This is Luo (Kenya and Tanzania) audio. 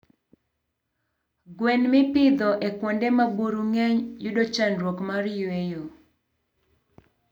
Gwen mipidho e kuonde ma buru ngeny yudo chandruok mar yweyo